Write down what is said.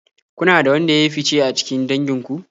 Kuna da wanda ya yi fice a cikin dangin ku?